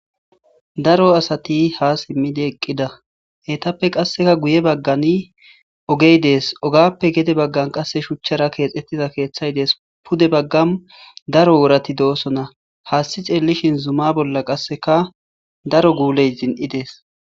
Daro asati ha simidii eeqida eettappe qasekka guye baggani oogey dees oogappe gedde baggan qasi shuuchchara keexxetidakeththay dees pude baggan daro woorati dossonna haassi xellishin zuma bolla qasekka daro gulley zin'ides